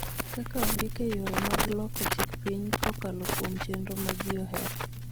kaka ondik e yore mag loko chik piny kokalo kuom chenro ma ji ohero.